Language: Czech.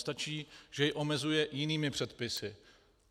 Stačí, že jej omezuje jinými předpisy.